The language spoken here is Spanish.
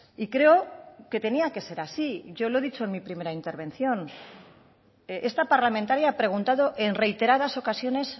y creo que tenía que ser así yo lo he dicho en mi primera intervención esta parlamentaria ha preguntado en reiteradas ocasiones